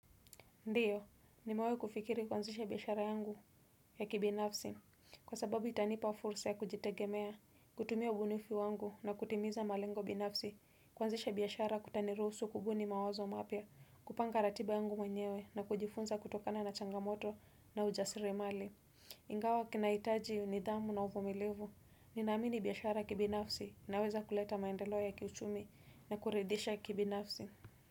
Ndiyo, nimewahi kufikiri kwanzisha biashara yangu ya kibinafsi, kwa sababu itanipa fursa ya kujitegemea, kutumia ubunifu wangu na kutimiza malengo binafsi, kuanzisha biashara kutaniruhusu kubuni mawazo mapya, kupanga ratiba yangu mwenyewe na kujifunza kutokana na changamoto na ujasirimali. Ingawa kinaitaji nidhamu na uvumilivu, ninaamini biashara ya kibinafsi, inaweza kuleta maendeleo ya kiuchumi na kuridhisha kibinafsi.